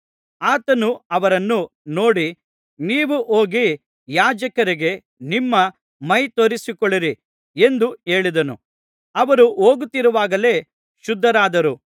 ಆತನು ಅವರನ್ನು ನೋಡಿ ನೀವು ಹೋಗಿ ಯಾಜಕರಿಗೆ ನಿಮ್ಮ ಮೈ ತೋರಿಸಿಕೊಳ್ಳಿರಿ ಎಂದು ಹೇಳಿದನು ಅವರು ಹೋಗುತ್ತಿರುವಾಗಲೇ ಶುದ್ಧರಾದರು